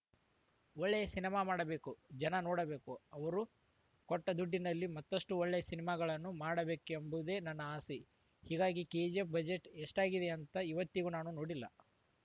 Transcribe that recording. ಒಳ್ಳೆಯ ಸಿನಿಮಾ ಮಾಡಬೇಕು ಜನ ನೋಡಬೇಕು ಅವರು ಕೊಟ್ಟದುಡ್ಡಿನಲ್ಲಿ ಮತ್ತಷ್ಟುಒಳ್ಳೆಯ ಸಿನಿಮಾಗಳನ್ನು ಮಾಡಬೇಕೆಂಬುದೇ ನನ್ನ ಆಸೆ ಹೀಗಾಗಿ ಕೆಜಿಎಫ್‌ ಬಜೆಟ್‌ ಎಷ್ಟಾಗಿದೆ ಅಂತ ಇವತ್ತಿಗೂ ನಾನು ನೋಡಿಲ್ಲ